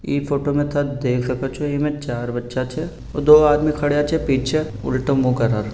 इ फोटो में देख सको छे इमे चार बच्चा छे और दो आदमी खड्या छे पीछे उलटो मुह करा र --